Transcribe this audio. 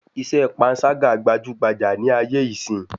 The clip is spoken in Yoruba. Iṣẹ́ pańṣágà gbajúgbajà ní ayé ìsín